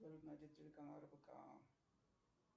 салют найди телеканал рбк